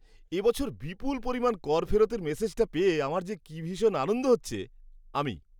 এ বছর বিপুল পরিমাণ কর ফেরতের মেসেজটা পেয়ে আমার যে কী ভীষণ আনন্দ হচ্ছে! আমি